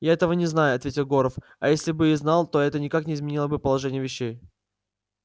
я этого не знаю ответил горов а если бы и знал то это никак не изменило бы положения вещей